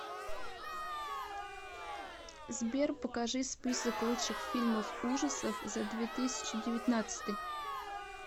сбер покажи список лучших фильмов ужасов за две тысячи девятнадцатый